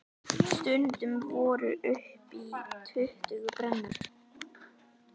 Stundum voru upp í tuttugu brennur.